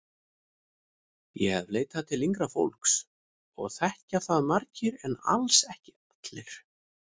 Ég hef leitað til yngra fólks og þekkja það margir en alls ekki allir.